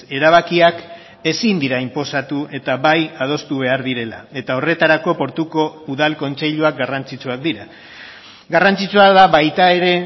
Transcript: erabakiak ezin dira inposatu eta bai adostu behar direla eta horretarako portuko udal kontseiluak garrantzitsuak dira garrantzitsua da baita ere